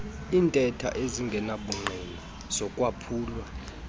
iintetho ezingenabungqina zokwaphulwa